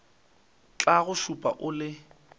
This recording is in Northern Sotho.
tla go šupa o le